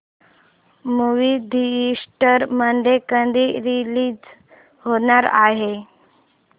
movie theatre मध्ये कधी release होणार आहे